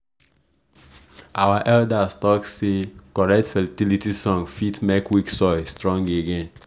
our elders talk say correct fertility song fit make weak soil strong again.